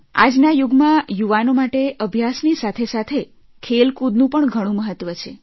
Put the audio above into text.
આજના યુગમાં યુવાનો માટે અભ્યાસની સાથે સાથે ખેલકૂદનું પણ ઘણું મહત્વ છે